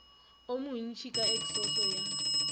wo montši ka eksoso ya